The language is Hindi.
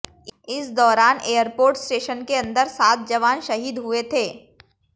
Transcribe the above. इस दौरान एयरपोर्ट स्टेशन के अंदर सात जवान शहीद हुए थे